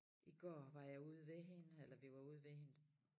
I går var jeg ude ved hende eller vi var ude ved hende